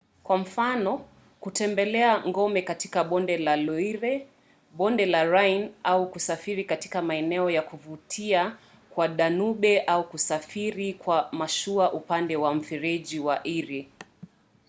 kwa mfano kutembelea ngome katika bonde la loire bonde la rhine au kusafiri katika maeneo ya kuvutia kwa danube au kusafiri kwa mashua upande wa mfereji wa erie